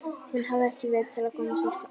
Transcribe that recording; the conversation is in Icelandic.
Hún hafði ekki vit til að koma sér áfram.